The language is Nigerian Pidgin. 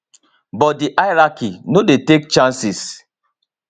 but di hierarchy no dey take chances